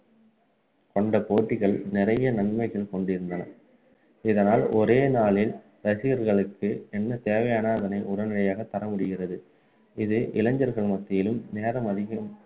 கொண்ட போட்டிகள் நிறைய நன்மைகள் கொண்டிருந்தன இதனால் ஒரே நாளில் ரசிகர்களுக்கு என்ன தேவையானதோ அதை உடனடியாக தரமுடிகிறது இது இளைஞர்கள் மத்தியிலும் நேரம் அதிகம்